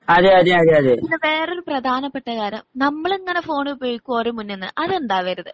പിന്നെ വേറൊരു പ്രദാനപ്പെട്ട കാര്യം നമ്മളിങ്ങനെ ഫോണ് ഉപയോഗിക്കും ഒരേ മുമ്പീന്നു അതുണ്ടാവരുത്.